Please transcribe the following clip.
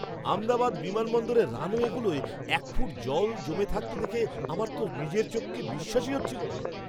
আহমেদাবাদ বিমানবন্দরের রানওয়েগুলোয় এক ফুট জল জমে থাকতে দেখে আমার তো নিজের চোখকেই বিশ্বাস হচ্ছিল না!